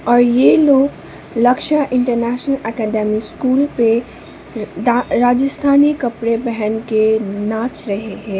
और ये लोग लक्ष्या इंटरनेशनल अकैडमी स्कूल पे राजस्थानी कपड़े पहन के नाच रहे है।